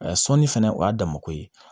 sɔnni fɛnɛ o y'a damako ye